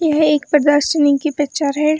यह एक पर्दा सिलिंग की पिक्चर है।